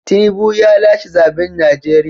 Tinubu ya lashe zaben Najeriya.